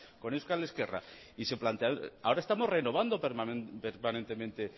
con euskal ezkerra y se plantea ahora estamos renovando permanentemente